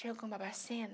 Chego em Babacena.